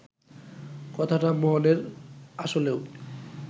কথাটা মোহনের আসলেও